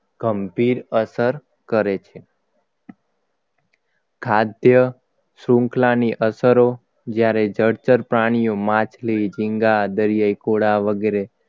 ગંભીર અસર કરે છે ખાદ્ય શૃંખલાની અસરો જ્યારે ચર્ચા પ્રાણીઓ માછલી ઝીંગા દરિયાઈ ઘોડા વગેરે